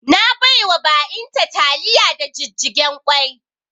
Na baiwa ba'in ta taliya da jijjigen kwai